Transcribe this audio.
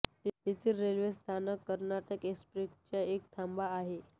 येथील रेल्वे स्थानक कर्नाटक एक्सप्रेसचा एक थांबा आहे